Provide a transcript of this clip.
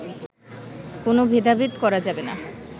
কোনো ভেদাভেদ করা যাবে না